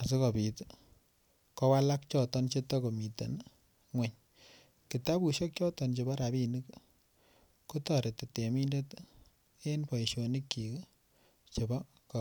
asikobit kowalak choton Che tako miten ngwony kitabusiek choton Chebo rabisiek ko toreti temindet en boisionikyik Che atkai tugul